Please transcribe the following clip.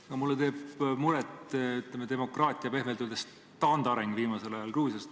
Aga mulle teeb muret demokraatia pehmelt öeldes taandareng viimasel ajal Gruusias.